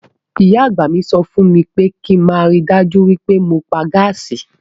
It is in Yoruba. Ìyá àgbà mi sọ fún mi pé kí n máa rí i dájú pé mo pa gáàsì.